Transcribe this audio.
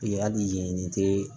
Yali nin tɛ